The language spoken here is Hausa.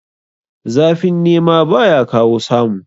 Zafin nema baya kawo samu